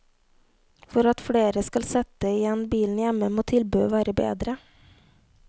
For at flere skal sette igjen bilen hjemme, må tilbudet være bedre.